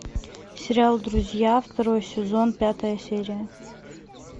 сериал друзья второй сезон пятая серия